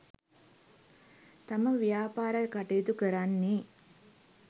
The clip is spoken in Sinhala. තම ව්‍යාපාර කටයුතු කරන්නේ